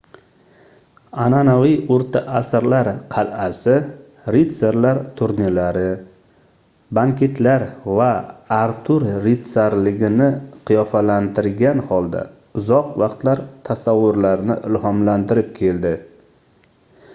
anʼanaviy oʻrta asrlar qalʼasi ritsarlar turnirlari banketlar va artur rutsarligini qiyofalantirgan holda uzoq vaqtlar tasavvurlarni ilhomlantirib keldi